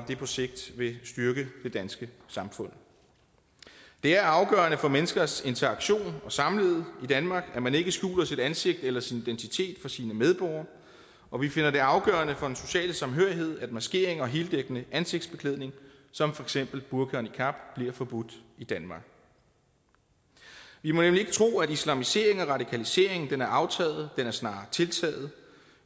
det på sigt vil styrke det danske samfund det er afgørende for menneskers interaktion og samlivet i danmark at man ikke skjuler sit ansigt eller sin identitet for sine medborgere og vi finder det afgørende for den sociale samhørighed at maskering og heldækkende ansigtsbeklædning som for eksempel burka og niqab bliver forbudt i danmark vi må nemlig ikke tro at islamiseringen og radikaliseringen er aftaget den er snarere tiltaget